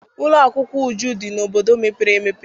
Ụlọ akwụkwọ Uju dị n'obodo mepere emepe.